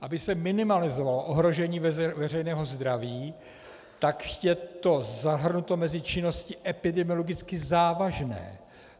Aby se minimalizovalo ohrožení veřejného zdraví, tak je to zahrnuto mezi činnosti epidemiologicky závažné.